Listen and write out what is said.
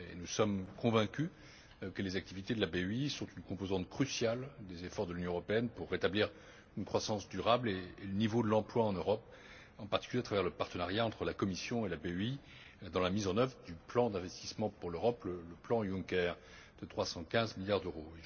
Nous sommes convaincus que les activités de la BEI sont une composante cruciale des efforts de l'Union européenne pour rétablir une croissance durable et le niveau de l'emploi en Europe, en particulier à travers le partenariat entre la Commission et la BEI dans la mise en œuvre du plan d'investissement pour l'Europe, le plan Juncker de 315 milliards d'euros.